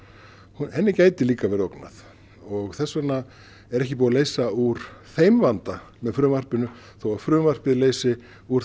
henni gæti líka verið ógnað og þess vegna er ekki búið að leysa úr þeim vanda með frumvarpinu þó að frumvarpið leysi úr